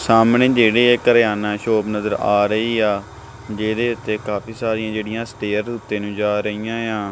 ਸਾਹਮਣੇ ਜਿਹੜੇ ਏ ਕਰਿਆਨਾ ਸ਼ੋਪ ਨਜ਼ਰ ਆ ਰਹੀ ਆ ਜਿਹਦੇ ਤੇ ਕਾਫੀ ਸਾਰੀਆਂ ਜਿਹੜੀਆਂ ਸਟੇਅਰ ਉੱਤੇ ਨੂੰ ਜਾ ਰਹੀਆਂ ਆ।